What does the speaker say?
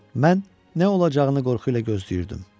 Mən nə olacağını qorxu ilə gözləyirdim.